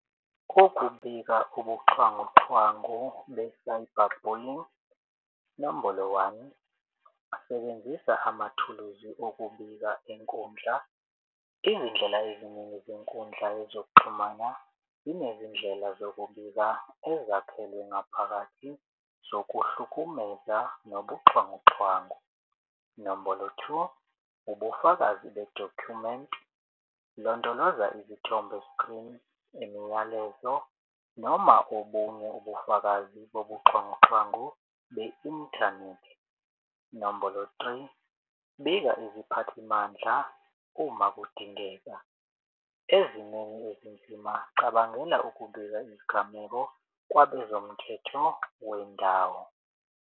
Ukubika ubuxhwanguxhwangu be-cyber bullying nombolo one sebenzisa amathuluzi okubika inkundla. Izindlela eziningi zenkundla yezokuxhumana zinezindlela zokubika ezakhelwe ngaphakathi zokuhlukumeza nobuxhwanguxhwangu. Nombolo two ubufakazi be-document londoloza izithombe skrini, imiyalezo noma obunye ubufakazi bobuxhwanguxhwangu be-inthanethi. Nombolo three bika iziphathimandla uma kudingeka ezimeni ezinzima cabangela ukubika izigameko kwabezomthetho wendawo.